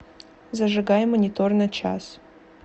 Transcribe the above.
зажигай монитор на час